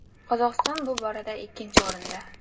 Qozog‘iston bu borada ikkinchi o‘rinda.